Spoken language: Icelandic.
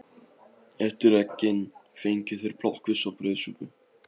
Eftir eggin fengu þeir plokkfisk og brauðsúpu.